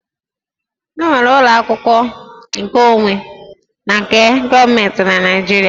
E nwere ụlọ akwụkwọ nkeonwe na nke gọọmentị na Naịjirịa